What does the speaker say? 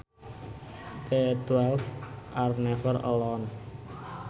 The twelve are never alone